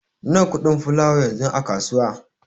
Nawa kuɗin fulawa yanzu a kasuwa?